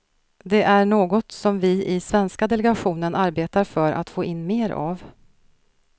Det är något som vi i svenska delegationen arbetar för att få in mer av.